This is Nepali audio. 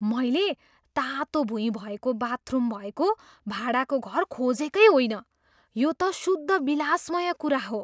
मैले तातो भुइँ भएको बाथरुम भएको भाडाको घर खोजेकै होइन, यो त शुद्ध विलासमय कुरा हो!